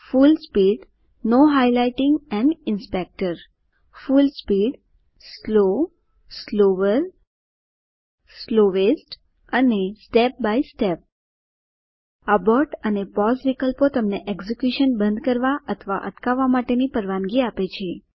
full speed full speed slow slower slowest અને step by step abort and pause વિકલ્પો તમને execution બંધ અથવા અટકાવવા માટેની પરવાનગી આપે છે